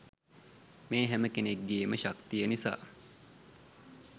මේ හැම කෙනෙක්ගේම ශක්තිය නිසා.